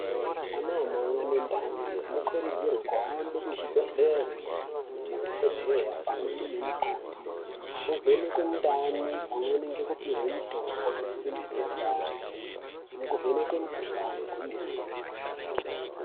Anamai anendani anokurudzirwa kuhambe kuzvibhedhleya kunoona madhokodheya pamweni nemukoti kozovhenekwe mundani pamweni ngekupihwe mutombo inosimbise ndani nekuvhenekwe mukuhlani kwemene.